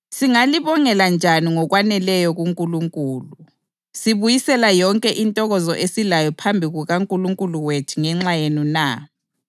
Singalibongela njani ngokwaneleyo kuNkulunkulu sibuyisela yonke intokozo esilayo phambi kukaNkulunkulu wethu ngenxa yenu na?